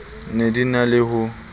ne di na le ho